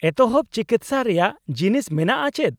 -ᱮᱛᱚᱦᱚᱵ ᱪᱤᱠᱤᱥᱥᱟ ᱨᱮᱭᱟᱜ ᱡᱤᱱᱤᱥ ᱢᱮᱱᱟᱜᱼᱟ ᱪᱮᱫ ?